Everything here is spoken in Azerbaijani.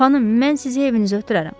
Xanım, mən sizi evinizə ötürərəm.